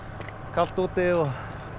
kalt úti og